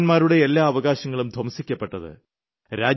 പൌരന്മാരുടെ എല്ലാ അവകാശങ്ങളും ധ്വംസിക്കപ്പെട്ടത്